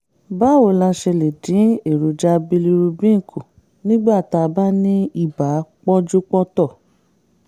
báwo la ṣe lè dín èròjà bilirubin kù nígbà tá a bá ní ibà pọ́njúpọ́ntọ̀?